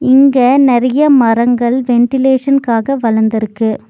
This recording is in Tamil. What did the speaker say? இங்க நெறையா மரங்கள் வென்டிலேஷன்காக வளந்துருக்கு.